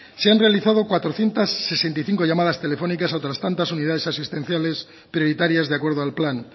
se han realizado cuatrocientos sesenta y cinco llamadas telefónicas a otras tantas unidades asistenciales prioritarias de acuerdo al plan